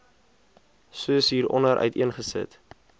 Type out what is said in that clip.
soos hieronder uiteengesit